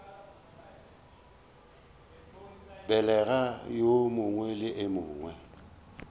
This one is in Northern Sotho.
begela yo mongwe le yo